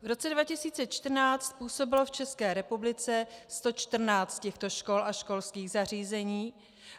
V roce 2014 působilo v České republice 114 těchto škol a školských zařízení.